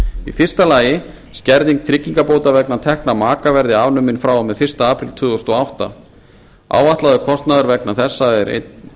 í fyrsta lagi skerðing tryggingabóta vegna tekna maka verði afnumin frá og með fyrsta apríl tvö þúsund og átta áætlaður kostnaður vegna þessa er einn